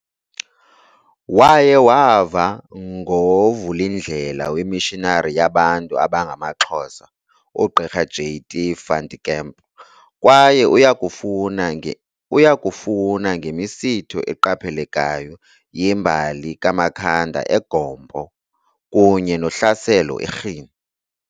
Waye wava ngovulindlela weMissionari yabantu abangamaXhosa, uGqirha "J.T. van der Kemp" kwaye uyakufuna ngemisitho eqaphelekayo yembali kaMakhanda e"Gompo" kunye nohlaselo e"Rhini".